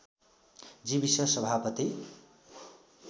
Jewish सभापति